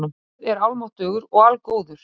Guð er almáttugur og algóður.